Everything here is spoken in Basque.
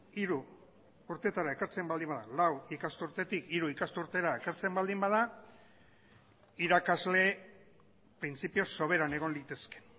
hiru urtetara ekartzen baldin bada lau ikasturtetik hiru ikasturtera ekartzen baldin bada irakasle printzipioz soberan egon litezke